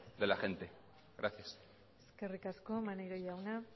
de la gente gracias eskerrik asko maneiro jauna